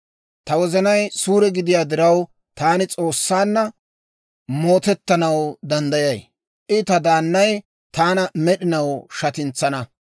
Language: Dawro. Ta wozanay suure gidiyaa diraw, taani S'oossaanna mootettanaw danddayay; I ta daannay taana med'inaw shatintsana.